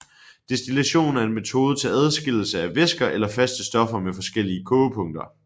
Destillation er en metode til adskillelse af væsker eller faste stoffer med forskellige kogepunkter